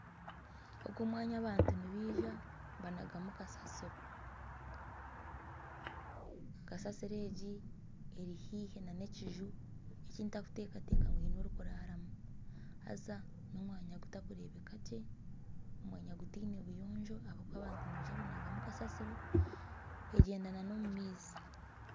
Ogu omwanya, abantu nibija banagamu kasasiro. Kasasiro egi eri haihi n'ekiju eki ntarikuteekateeka ngu haine orikuraramu haza n'omwanya gutakurebeka gye, n'omwanya guteine obuyonjo ahabw'okuba abantu nibija banagamu kasasiro egyenda n'omumaizi.